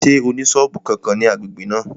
Ṣé ó ní sọ́ọ̀bù kankan ní agbègbè náà?